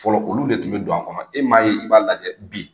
Fɔlɔ olu de kun mɛ don a kɔnɔ e m'a ye i b'a lajɛ bi